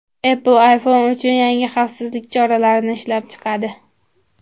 Apple iPhone uchun yangi xavfsizlik choralarini ishlab chiqadi.